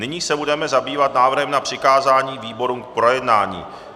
Nyní se budeme zabývat návrhem na přikázání výborům k projednání.